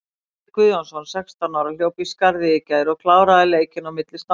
Davíð Guðjónsson, sextán ára, hljóp í skarðið í gær og kláraði leikinn á milli stanganna.